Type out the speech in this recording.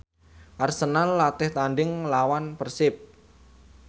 Arsenal latih tandhing nglawan Persib